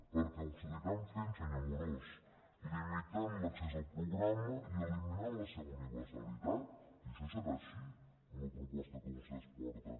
perquè ho seguiran fent senyor amorós limitant l’accés al programa i eliminant la seva universalitat i això serà així amb la proposta que vostès porten